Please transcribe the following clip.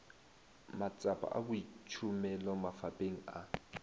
matsapa a boitšhomelo mafapheng a